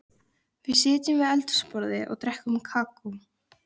Við sitjum við eldhúsborðið og drekkum kakó.